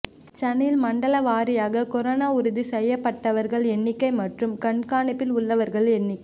சென்னையில் மண்டலம் வாரியாக கொரோனா உறுதி செய்யப்பட்டவர்கள் எண்ணிக்கை மற்றும் கண்காணிப்பில் உள்ளவர்கள் எண்ணிக்கை